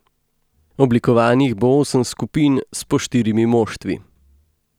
Oblikovanih bo osem skupin s po štirimi moštvi.